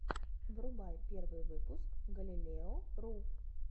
врубай первый выпуск галилео ру